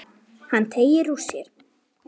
Hann teygir úr sér.